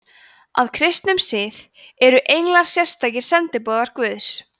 að kristnum skilningi eru englar sérstakir sendiboðar guðs